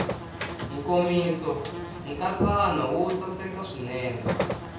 nkomiso nkatsakanyo wo saseka swinene